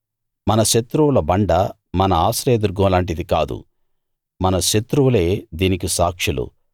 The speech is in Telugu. మన శత్రువుల బండ మన ఆశ్రయదుర్గం లాంటిది కాదు మన శత్రువులే దీనికి సాక్షులు